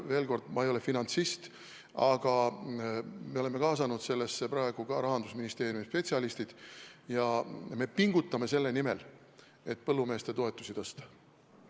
Veel kord: ma ei ole finantsist, aga me oleme kaasanud ka Rahandusministeeriumi spetsialistid ja me pingutame selle nimel, et põllumeeste toetusi tõsta.